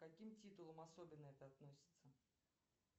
к каким титулам особенно это относится